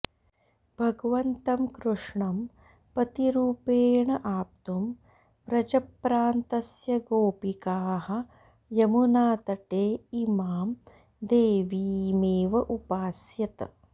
भगवन्तं कृष्णं पतिरूपेण आप्तुं व्रजप्रान्तस्य गोपिकाः यमुनातटे इमां देवीमेव उपास्यत